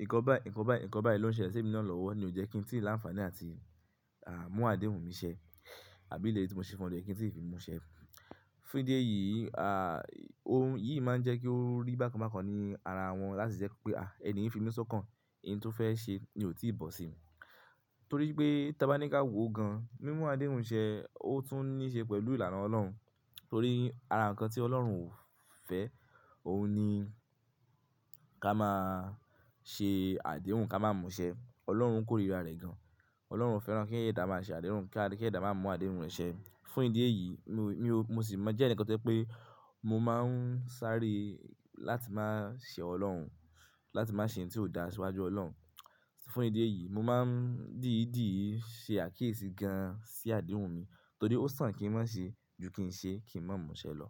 Nkan báyìí, nkan báyìí, nkan báyìí ló ń ṣẹlẹ̀ sí emi naa lọ́wọ́ ni ó jẹ́ kí n tí ì láǹfààní láti, à, mú àdéhùn mi ṣẹ àbí iléri tí mo ṣe fún o ní o je kí n tí ì ri mú ṣẹ. Fún ìdí èyí, a, ohun yìí máa ń jẹ́ kí ó rí bákan bákan ní ara wọn láti jẹ pé, à, ẹni yín fi mí sọ́kàn, n tí ó fẹ́ ṣe ni ò tí ì bọ̀ sí i Torí pé tí a bá ní ká wò ó gan-an, mímú àdéhùn ṣẹ, ó tún ní í ṣe pẹ̀lú ìlànà Ọlọ́run. Torí ara nkan tí Ọlọ́run ò fẹ́, òun ni ká máa ṣe àdéhùn, ká máa mú ṣẹ. Ọlọ́run kórìíra rẹ̀ gan-an. Ọlọ́run o fẹ́ràn kí ẹ̀dá máa ṣe àdéhùn, kí ẹ̀dá má mú àdéhùn rẹ̀ ṣẹ. Fún ìdí èyí, mi ò, mo sì mo jẹ́ ẹ̀nìkan to je pé mo máa ń sáré láti ma ṣe Ọlọ́run, láti má ṣe ohun tí ò dá síwájú Ọlọ́run. Fún ìdí èyí, mo máa ń dìídì í ṣe àkíyèsí gan-an sí àdéhùn mi torí ó sàn kí n má ṣe ju kí n ṣe kí n má mú ṣẹ lọ.